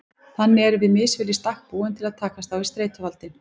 Þannig erum við misvel í stakk búin til að takast á við streituvaldinn.